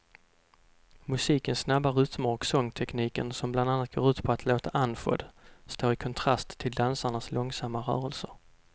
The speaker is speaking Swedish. Musikens snabba rytmer och sångtekniken som bland annat går ut på att låta andfådd står i kontrast till dansarnas långsamma rörelser.